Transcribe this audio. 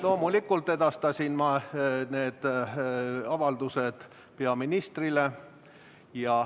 Loomulikult edastasin ma need avaldused peaministrile.